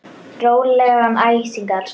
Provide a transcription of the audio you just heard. Rólegan æsing, elskan.